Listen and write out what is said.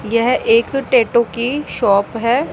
यह एक टैटू की शॉप है।